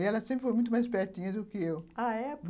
E ela sempre foi muito mais espertinha do que eu. Ah, é?